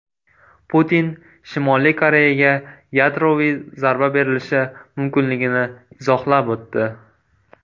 Putin Shimoliy Koreyaga yadroviy zarba berilishi mumkinligini izohlab o‘tdi.